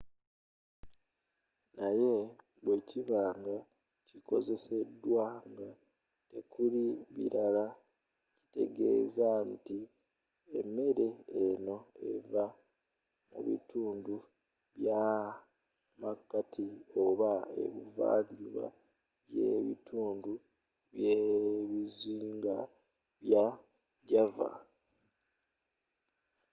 naye bwekiba nga kikozzeseddwa nga tekuli bilala kitegezza nti emere eno eva mu bitundu by'amakati oba ebuvva njuba yebitundu byebizinga bya java